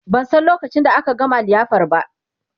ban San lokacin da aka gama liyafar ba